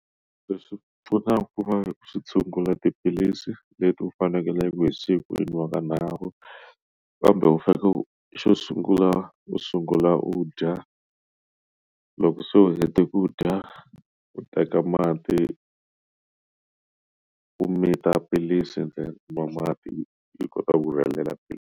Se swi pfuna ku va ku swi tshungula tiphilisi leti u fanekeleke hi siku ti nwiwa kanharhu kambe u faneke u xo sungula u sungula u dya loko se u hete ku dya u teka mati u mita philisi ntsena u nwa mati yi kota ku rhelela philisi.